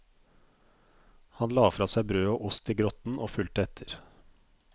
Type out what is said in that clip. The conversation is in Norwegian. Han la fra seg brød og ost i grotten og fulgte etter.